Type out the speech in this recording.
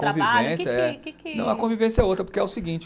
Trabalho que que, que que. Não, a convivência é outra, porque é o seguinte.